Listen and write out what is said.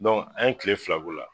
an ye tile fila k'o la.